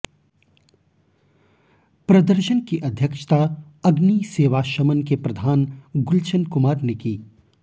प्रदर्शन की अध्यक्षता अग्नि सेवा शमन के प्रधान गुलशन कुमार ने की